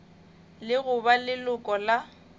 le go ba leloko la